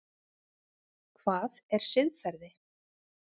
Hvað er siðferði?